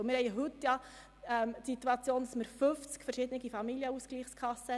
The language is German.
Die heutige Situation zeigt 50 verschiedene Familienausgleichskassen.